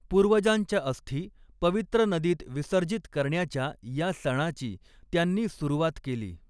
पूर्वजांच्या अस्थी पवित्र नदीत विसर्जित करण्याच्या या सणाची त्यांनी सुरुवात केली.